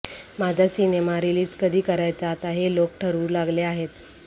माझा cinema release कधी करायचा आता हे लोकं ठरवू लागले आहेत